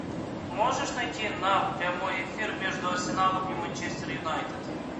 можешь найти нам прямой эфир между арсеналом и манчестер юнайтед